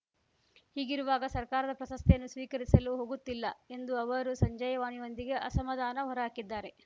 ಹೀಗಿರುವಾಗ ಸರ್ಕಾರದ ಪ್ರಶಸ್ತಿಯನ್ನು ಸ್ವೀಕರಿಸಲು ಹೋಗುತ್ತಿಲ್ಲ ಎಂದು ಅವರು ಸಂಜೆಯ್ ವಾಣಿಯೊಂದಿಗೆ ಅಸಮಾಧಾನ ಹೊರ ಹಾಕಿದ್ದಾರೆ